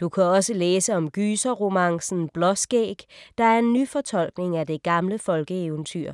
Du kan også læse om gyserromancen Blåskæg, der er en nyfortolkning af det gamle folkeeventyr.